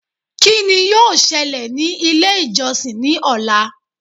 Kí ni yóò ṣẹlẹ̀ ní ilé ìjọsìn ní ọ̀la